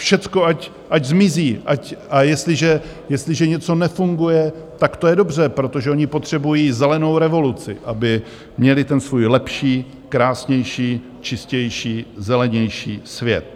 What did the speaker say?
Všechno ať zmizí, a jestliže něco nefunguje, tak to je dobře, protože oni potřebují zelenou revoluci, aby měli ten svůj lepší, krásnější, čistější, zelenější svět.